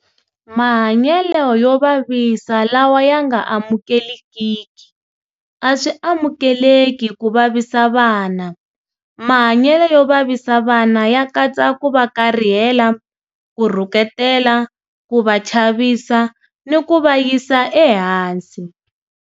Mahanyelo yo vavisa lawa ya nga amukelekiki. A swi amukeleki ku vavisa vana. Mahanyelo yo vavisa vana ya katsa ku va karihela, ku rhuketela, ku va chavisa ni ku va yisa ehansi.